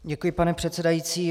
Děkuji, pane předsedající.